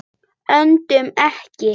Öndum ekki.